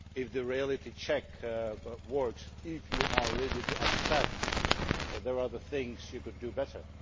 A reality check only works if you are ready to accept that there are other things that you could do better.